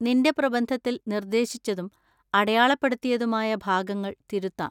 നിന്‍റെ പ്രബന്ധത്തിൽ നിർദ്ദേശിച്ചതും അടയാളപ്പെടുത്തിയതുമായ ഭാഗങ്ങൾ തിരുത്താം.